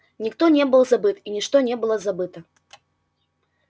никто не был забыт и ничто не было забыто